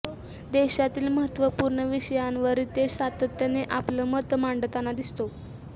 देशातील महत्त्वपूर्ण विषयांवर रितेश सातत्याने आपलं मत मांडताना दिसतो